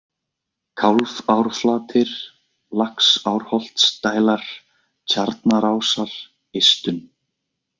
Kálfárflatir, Laxárholtsdælar, Tjarnarásar, Eistun